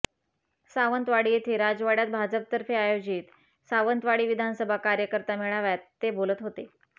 सावंतवाडी येथे राजवाड्यात भाजपतर्फे आयोजित सावंतवाडी विधानसभा कार्यकर्ता मेळाव्यात ते बोलत होते